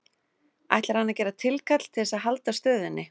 Ætlar hann að gera tilkall til þess að halda stöðunni?